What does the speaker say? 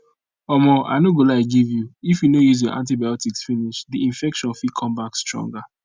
omo i no go lie give you if you no use your antibotics finish the infection fit come back stronger